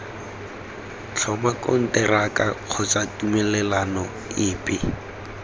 tlhoma konteraka kgotsa tumelelano epe